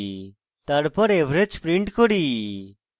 তারপর average print করি